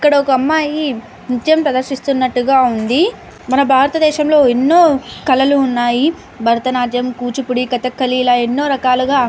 ఇక్కడ ఒక అమ్మాయి నృత్యం ప్రదర్శినట్టుగా ఉంది. మన భారత దేశంలో ఎన్నో కళలు ఉన్నాయ్. భరతనాట్యం కూచూపుడి కథాకళి ఇలా ఎన్నో రకాలుగా --